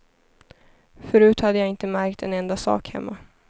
Förut hade jag inte märkt en enda sak hemma.